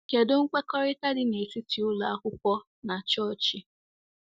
Kedụ nkwekọrịta dị n’etiti ụlọ akwụkwọ na Chọọchị? ’